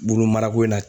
Bolo marako in na